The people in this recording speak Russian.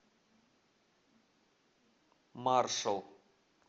маршал